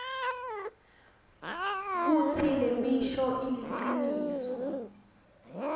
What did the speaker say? kutsi lemisho iliciniso